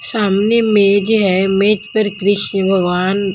सामने मेज हैमेज पर कृष्ण भगवान--